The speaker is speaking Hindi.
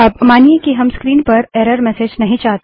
अब मानिए कि हम स्क्रीन पर एरर मेसेज नहीं चाहते